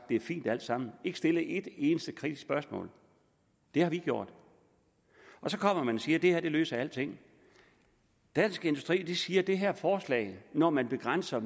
det er fint alt sammen og ikke stillet et eneste kritisk spørgsmål det har vi gjort så kommer man og siger at det her løser alting dansk industri siger at det her forslag når man begrænser